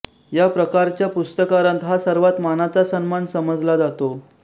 या प्रकारच्या पुरस्कारांत हा सर्वांत मानाचा सन्मान समजला जातो